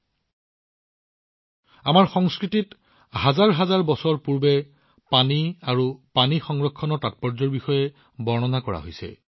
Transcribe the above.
চিন্তা কৰক আমাৰ সংস্কৃতিত হাজাৰ হাজাৰ বছৰ পূৰ্বে পানী আৰু পানী সংৰক্ষণৰ গুৰুত্ব বৰ্ণনা কৰা হৈছে